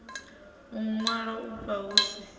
u ṅwalwa afha hu si